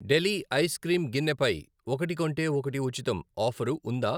డెలి ice cream గిన్నె పై 'ఒకటి కొంటే ఒకటి ఉచితం' ఆఫరు ఉందా?